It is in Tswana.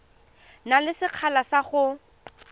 na le sekgala sa go